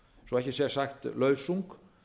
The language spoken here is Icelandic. svo ekki sé sagt lausung